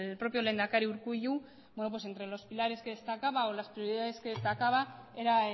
propio lehendakari urkullu entre los pilares que destacaba o las prioridades que destacaba era